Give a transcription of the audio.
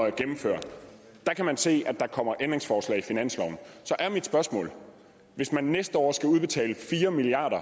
at gennemføre kan se at der kommer ændringsforslag til finansloven så er mit spørgsmål hvis man næste år skal udbetale fire milliard